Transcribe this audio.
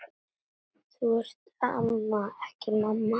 Þú ert amma, ekki mamma.